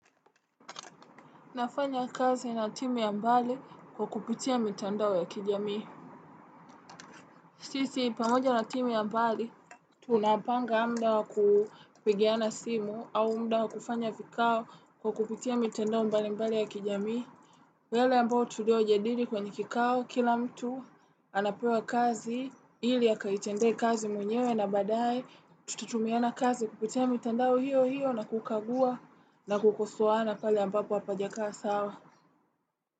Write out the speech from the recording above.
Nafanya kazi na timu ya mbali kwa kupitia mitandao ya kijamii. Sisi, pamoja na timu ya mbali, tunapanga muda wa kupigiana simu au muda wa kufanya vikao kwa kupitia mitandao mbalimbali ya kijamii. Kwa yale ambayo tuliojadili kwenye kikao, kila mtu anapewa kazi, ili akaitendee kazi mwenyewe na baadaye tutatumiana kazi kupitia mitandao hiyo hiyo na kukagua na kukosoana pale ambapo hapajakaa sawa.